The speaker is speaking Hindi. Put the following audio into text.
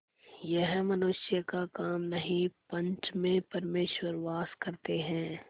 यह मनुष्य का काम नहीं पंच में परमेश्वर वास करते हैं